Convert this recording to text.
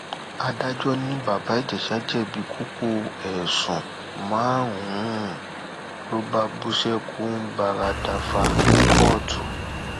adájọ ni bàbá ìjẹsà jẹbi kókó ẹsùn márùnún ló bá bú sẹkún gbáradàfá ní kóòtù